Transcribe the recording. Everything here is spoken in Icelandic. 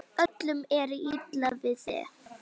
Öllum er illa við þig!